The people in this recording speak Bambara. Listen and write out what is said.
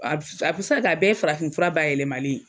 A bi se ka kɛ a bɛɛ ye farafinfura bayɛlɛmalen ye